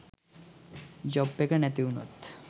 job එක නැතිවුනොත්